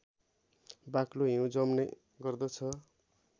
बाक्लो हिउँ जम्ने गर्दछ